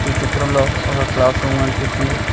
ఈ చిత్రంలో ఒక క్లాస్ రూమ్ కనిపిస్తుంది.